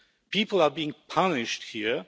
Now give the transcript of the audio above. People are being punished